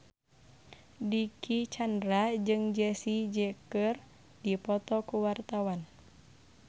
Dicky Chandra jeung Jessie J keur dipoto ku wartawan